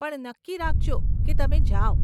પણ નક્કી રાખજો, કે તમે જાવ.